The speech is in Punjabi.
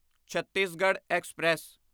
ਛੱਤੀਸਗੜ੍ਹ ਐਕਸਪ੍ਰੈਸ